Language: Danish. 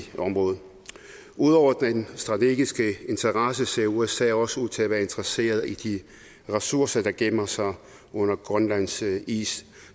området ud over den strategiske interesse ser usa også ud til at være interesserede i de ressourcer der gemmer sig under grønlands is